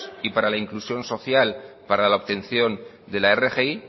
y para la inclusión social para la obtención de la rgi